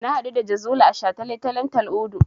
Na haɗu da Jazuli a shataletalen Tal'udu.